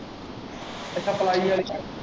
ਅੱਛਾ ਪਲਾਈ ਆਲ਼ੀ ਚ।